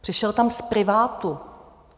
Přišel tam z privátu.